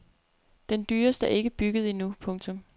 Den dyreste er ikke bygget endnu. punktum